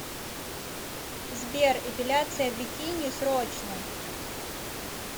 сбер эпиляция бикини срочно